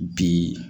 Bi